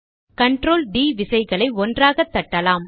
control D விசைகளை ஒன்றாக தட்டலாம்